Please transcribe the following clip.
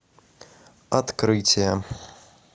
открытие